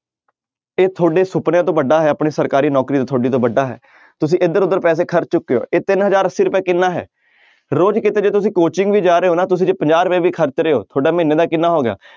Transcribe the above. ਇਹ ਤੁਹਾਡੇ ਸੁਪਨਿਆਂ ਤੋਂ ਵੱਡਾ ਹੈ ਆਪਣੇ ਸਰਕਾਰੀ ਨੌਕਰੀ ਤੋਂ ਤੁਹਾਡੀ ਤੋਂ ਵੱਡਾ ਹੈ ਤੁਸੀਂ ਇੱਧਰ ਉੱਧਰ ਪੈਸੇ ਖਰਚ ਚੁੱਕੇ ਹੋ ਇਹ ਤਿੰਨ ਹਜ਼ਾਰ ਅੱਸੀ ਰੁਪਏ ਕਿੰਨਾ ਹੈ ਰੋਜ਼ ਕਿਤੇ ਜੇ ਤੁਸੀਂ coaching ਵੀ ਜਾ ਰਹੇ ਹੋ ਨਾ ਤੁਸੀਂ ਜੇ ਪੰਜਾਹ ਰੁਪਏ ਵੀ ਖ਼ਰਚ ਰਹੇ ਹੋ ਤੁਹਾਡਾ ਮਹੀਨੇ ਦਾ ਕਿੰਨਾ ਹੋ ਗਿਆ,